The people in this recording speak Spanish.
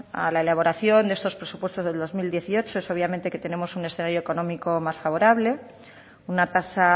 a la elaboración de estos presupuestos del dos mil dieciocho es obviamente que tenemos un escenario económico más favorable una tasa